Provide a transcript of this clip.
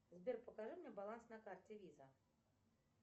сбер покажи мне баланс на карте виза